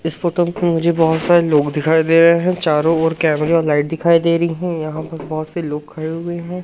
इस फोटो को मुझे बहोत सारे लोग दिखाई दे रहे हैं चारों ओर कैमरा लाइट दिखाई दे रही है यहां पर बहोत से लोग खड़े हुए हैं।